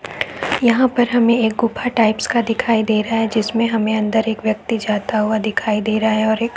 यहाँ पर एक हमें गुफा टाइप का दिखाई दे रहा है जिसमे हम एक व्यक्ति अंदर जाता दिखाई दे रहा है और एक--